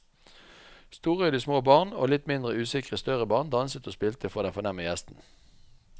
Storøyde små barn og litt mindre usikre større barn danset og spilte for den fornemme gjesten.